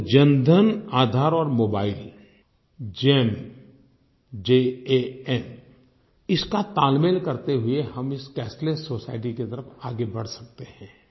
तो जनधन आधार और mobile JAM jaएम इसका तालमेल करते हुए हम इस कैशलेस सोसाइटी की तरफ़ आगे बढ़ सकते हैं